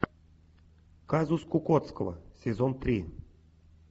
казус кукоцкого сезон три